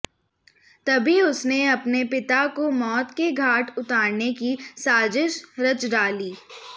तभी उसने अपने पिता को मौत के घाट उतारने की साजिश रच डाली